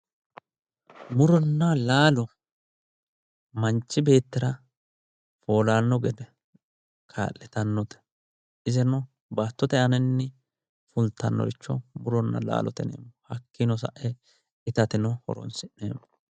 Muronna laalo manchi beettira foolano gede kaa'littanote iseno baattote aanini fultanoricho muronna laalote yinneemmo hakkinino sae ittateno horonsi'neemmo